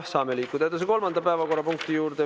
Saame liikuda edasi kolmanda päevakorrapunkti juurde.